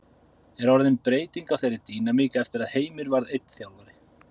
Er orðin breyting á þeirri dýnamík eftir að Heimir varð einn þjálfari?